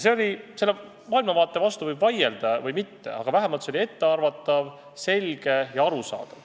Selle maailmavaate vastu võib vaielda või mitte, aga vähemalt oli see ettearvatav, selge ja arusaadav.